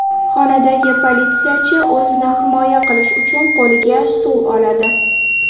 Xonadagi politsiyachi o‘zini himoya qilish uchun qo‘liga stul oladi.